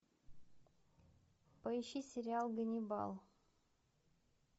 поищи сериал ганнибал